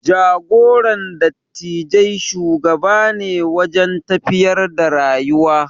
Jagoran dattijai shugaba ne wajen tafiyar da rayuwa.